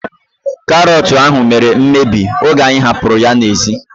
Karọt ahu mere mmebi oge anyị hapụrụ ya n'ezi